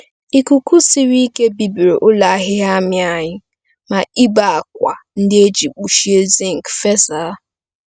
Ikuku siri ike bibiri ụlọ ahịhịa amị anyị, ma ibé ákwà ndị e ji kpuchie zinc fesa.